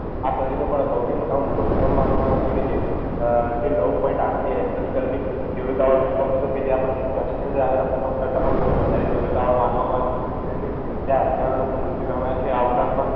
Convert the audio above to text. આ સદીનો પણ સૌથી મોટામાં મોટો ભૂકંપ માનવામાં આવે છે કે જેની જે નવ point આઠની તીવ્રતા વાળો ભૂકંપ હતો કે જે આપણા કચ્છ ની અંદર આવેલાં ભૂકંપ કરતાં પણ બઉ જ વધારે તીવ્રતા વાળો માનવામાં આવે છે. જેથી કરીને ત્યાં હજારો લોકો મૃત્યુ પામ્યાં છે આ ઉપરાંત પણ